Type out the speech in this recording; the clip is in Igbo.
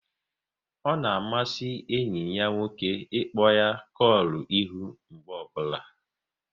Ọ na amasị enyi ya nwoke ịkpọ ya kolu ihu mgbe ọbụla